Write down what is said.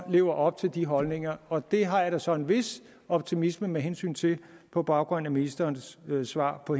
leve op til de holdninger og det har jeg da så en vis optimisme med hensyn til på baggrund af ministerens svar på